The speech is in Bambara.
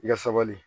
I ka sabali